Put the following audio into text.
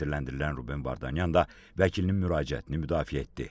Təqsirləndirilən Ruben Vardanyan da vəkilinin müraciətini müdafiə etdi.